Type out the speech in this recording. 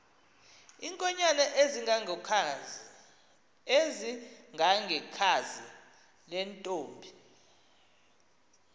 iinkonyan ezingangekhazi lentomb